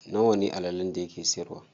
Nawa ne allalen da yake siyarwa?